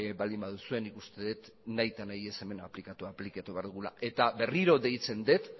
baldin baduzue nik uste dut nahi eta nahi ez hemen aplikatu aplikatu behar dugula eta berriro deitzen dut